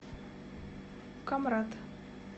камрад